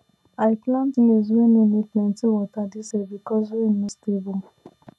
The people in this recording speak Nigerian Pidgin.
i plant maize wey no need plenty water this year because rain no stable